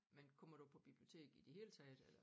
Men kommer du på bibliotek i det hele taget eller?